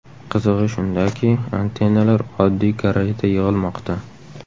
Qizig‘i shundaki, antennalar oddiy garajda yig‘ilmoqda.